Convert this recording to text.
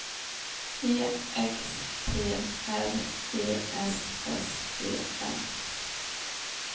E X P R E S S E N